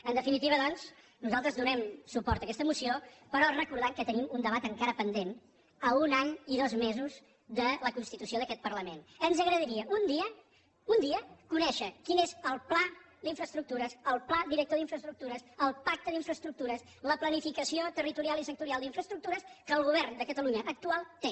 en definitiva doncs nosaltres donem suport a aquesta moció però recordant que tenim un debat encara pendent a un any i dos mesos de la constitució d’aquest parlament ens agradaria un dia un dia conèixer quin és el pla d’infraestructures el pla director d’infraestructures el pacte d’infraestructures la planificació territorial i sectorial d’infraestructures que el govern de catalunya actual té